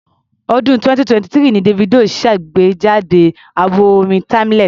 Ọ̀dún 2023 ni Davido ṣàgbejáde àwo orin Timeless.